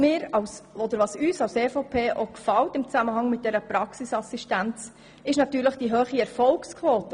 Der EVP-Fraktion gefällt im Zusammenhang mit dieser Praxisassistenz auch deren grosse Erfolgsquote.